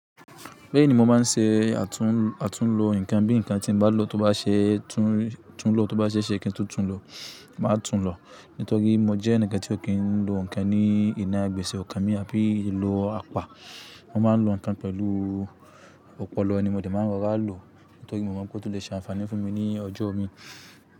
Bẹ́ẹ̀ni mo máa ń ṣe àtún àtún lo ǹkan bí ǹkan tí mo bá lò tó bá ṣe tún lò, tó bá ṣe ṣe kí n tó tún lò, màá tún lò. Nítorí mo jẹ́ ẹǹikan tí ò kí n lo ǹkan ní ìná gbèsè ọkàn mi àbí lo apá. Mo máa ń lo ǹkan pẹ̀lú ọpọlọ ni mo dẹ̀ máa ń rọra lò nítorí mo mọ̀ pé ó tún lè ṣe àǹfààní fún mi ní ọjọ́ mi.